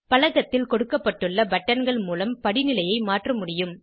பலகத்தில் கொடுக்கப்பட்டுள்ள பட்டன்கள் மூலம் படிநிலையை மாற்ற முடியும்